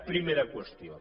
primera qüestió